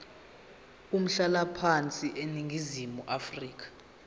umhlalaphansi eningizimu afrika